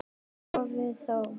Í hófi þó.